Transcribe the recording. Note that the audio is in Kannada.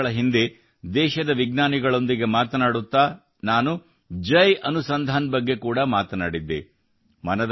ಕೆಲವು ವರ್ಷಗಳ ಹಿಂದೆ ದೇಶದ ವಿಜ್ಞಾನಿಗಳೊಂದಿಗೆ ಮಾತನಾಡುತ್ತಾ ನಾನು ಜೈ ಅನುಸಂಧಾನ್ ಬಗ್ಗೆ ಕೂಡಾ ಮಾತನಾಡಿದ್ದೆ